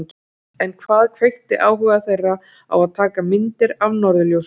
En hvað kveikti áhuga þeirra á að taka myndir af norðurljósum?